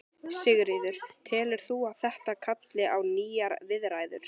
Sigríður: Telur þú að þetta kalli á nýjar viðræður?